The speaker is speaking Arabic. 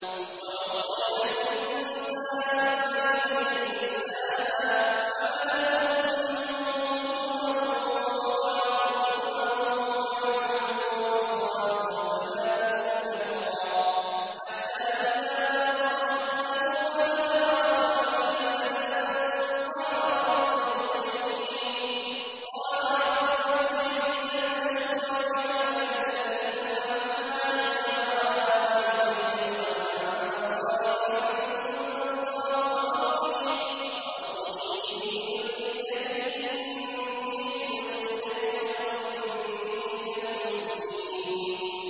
وَوَصَّيْنَا الْإِنسَانَ بِوَالِدَيْهِ إِحْسَانًا ۖ حَمَلَتْهُ أُمُّهُ كُرْهًا وَوَضَعَتْهُ كُرْهًا ۖ وَحَمْلُهُ وَفِصَالُهُ ثَلَاثُونَ شَهْرًا ۚ حَتَّىٰ إِذَا بَلَغَ أَشُدَّهُ وَبَلَغَ أَرْبَعِينَ سَنَةً قَالَ رَبِّ أَوْزِعْنِي أَنْ أَشْكُرَ نِعْمَتَكَ الَّتِي أَنْعَمْتَ عَلَيَّ وَعَلَىٰ وَالِدَيَّ وَأَنْ أَعْمَلَ صَالِحًا تَرْضَاهُ وَأَصْلِحْ لِي فِي ذُرِّيَّتِي ۖ إِنِّي تُبْتُ إِلَيْكَ وَإِنِّي مِنَ الْمُسْلِمِينَ